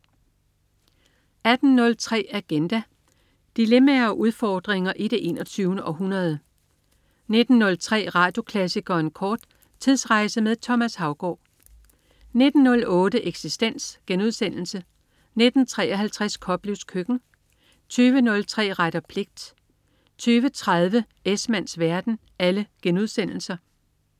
18.03 Agenda. Dilemmaer og udfordringer i det 21. århundrede 19.03 Radioklassikeren kort. Tidsrejse med Thomas Haugaard 19.08 Eksistens* 19.53 Koplevs Køkken* 20.03 Ret og pligt* 20.30 Esmanns verden*